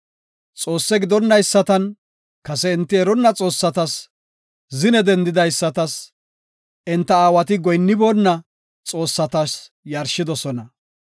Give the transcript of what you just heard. Xoosse gidonaysatas, kase enti eronna xoossatas, zine dendidaysatas, enta aawati goyinniboona xoossatas yarshidosona.